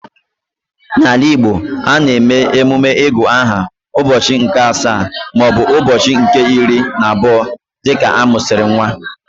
N'ala Igbo, a na-eme emume igu aha ụbọchị nke asaa maọbụ ụbọchị nke iri na abụọ dịka amusiri nwa